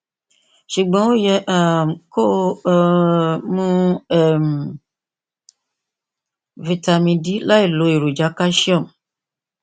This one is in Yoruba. ṣùgbọn o yẹ um kó o um mu um vitamin d láìlo èròjà calcium